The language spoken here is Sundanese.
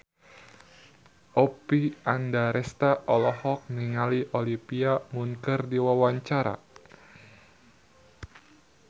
Oppie Andaresta olohok ningali Olivia Munn keur diwawancara